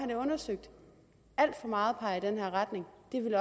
det undersøgt alt for meget peger i den her retning